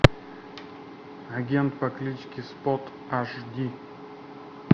агент по кличке спот аш ди